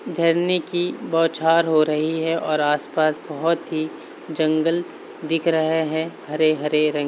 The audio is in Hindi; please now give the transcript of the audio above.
झरने की बौछार हो रही है और आसपास बहुत ही जंगल दिख रहे हैं हरे हरे रंग --